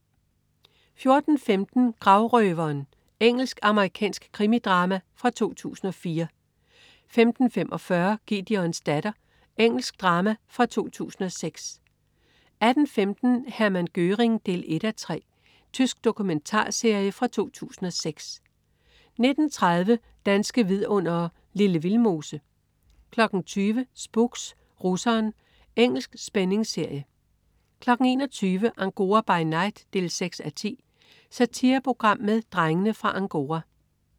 14.15 Gravrøveren. Engelsk-amerikansk krimidrama fra 2004 15.45 Gideons datter. Engelsk drama fra 2006 18.15 Hermann Göring 1:3. Tysk dokumentarserie fra 2006 19.30 Danske vidundere: Lille Vildmose 20.00 Spooks: Russeren. Engelsk spændingsserie 21.00 Angora by night 6:10. Satireprogram med "Drengene fra Angora"